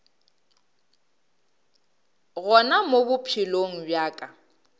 gona mo bophelong bja ka